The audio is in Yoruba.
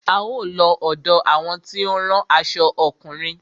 A ó lọ ọ̀dọ àwọn tí ó ń rán aṣo ọkùnrin.